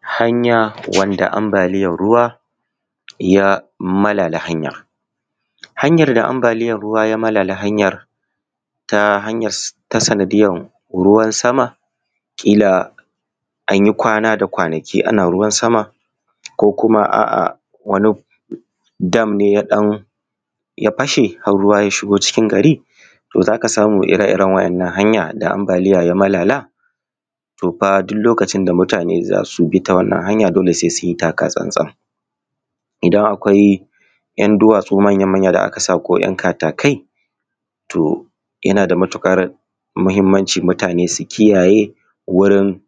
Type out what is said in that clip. Hanya wanda ambaliyar ruwa ya malala, hanyar da ambaliyar ruwa ya malala hanyar ta sanadiyar ruwna sama kila an yi kwana da kwanaki ana ruwan sama ko kuwa, a'a wani dam ne ya fashe har ruwa ya shigo cikin gari. To za ka samu ire-iren waɗannan hanya da ambaliya ya malala to fa duk lokacin da mutane za su bi wannan hanya sai sun yi taka tsantsan idan akwai yan duwatsu manya-manyan da aka sa ko 'yan katakai to yana da matukar muhimmanci mutane su kiyaye wuri